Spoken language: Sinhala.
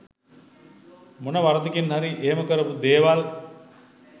මොන වරදකින් හරි එහෙම කරපු දේවල්